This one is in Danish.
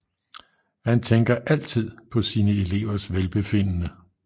Han tænker altid på sine elevers velbefindende